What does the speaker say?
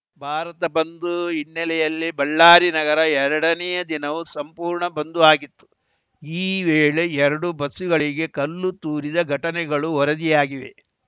ಭಾರತ ಬಂದ್‌ ಹಿನ್ನೆಲೆಯಲ್ಲಿ ಬಳ್ಳಾರಿ ನಗರ ಎರಡನೇಯ ದಿನವೂ ಸಂಪೂರ್ಣ ಬಂದು ಆಗಿತ್ತು ಈ ವೇಳೆ ಎರಡು ಬಸ್ಸುಗಳಿಗೆ ಕಲ್ಲು ತೂರಿದ ಘಟನೆಗಳು ವರದಿಯಾಗಿವೆ